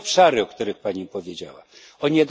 Trzy obszary, o których pani powiedziała, tj.